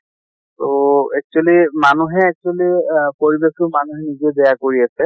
তʼ actually মানুহে actually আহ পৰিবেশ টো মানুহে নিজে বেয়া কৰি আছে